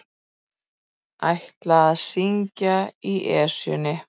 Ætla að syngja í Esjunni